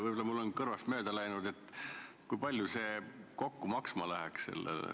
Võib-olla on mul kõrvust mööda läinud, aga kui palju see tasuta lõuna kokku maksma läheks?